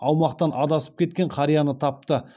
аумақтан адасып кеткен қарияны тапты